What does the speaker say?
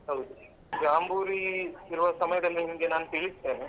ಹೌದು ಜಾಂಬೂರಿ ಇರುವ ಸಮಯದಲ್ಲಿ ನಿಮ್ಗೆ ನಾನು ತಿಳಿಸ್ತೇನೆ.